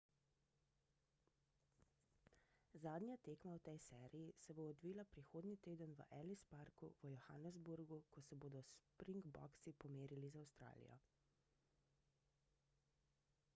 zadnja tekma v tej seriji se bo odvila prihodnji teden v ellis parku v johannesburgu ko se bodo springboksi pomerili z avstralijo